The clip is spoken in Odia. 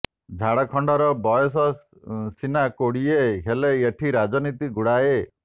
ଝାଡ଼ଖଣ୍ଡର ବୟସ ସିନା କୋଡିଏ ହେଲେ ଏଠି ରାଜନୀତି ଗୁଡାଏ